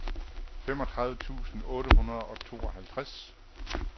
femogtredive tusind otte hundrede og tooghalvtreds